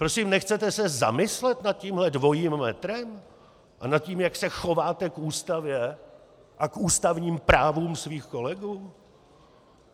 Prosím, nechcete se zamyslet nad tímto dvojím metrem a nad tím, jak se chováte k Ústavě a k ústavním právům svých kolegů?